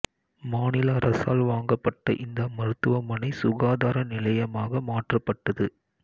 மாநில அரசால் வாங்கப்பட்ட இந்த மருத்துவமனை சுகாதார நிலையமாக மாற்றப்பட்டது